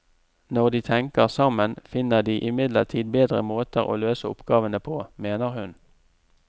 Når de tenker sammen, finner de imidlertid bedre måter å løse oppgavene på, mener hun.